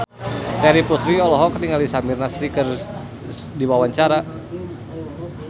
Terry Putri olohok ningali Samir Nasri keur diwawancara